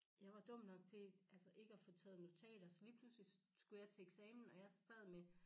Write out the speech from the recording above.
Jeg var dum nok til altså ikke at få taget notater så lige pludselig så skulle jeg til eksamen og jeg sad med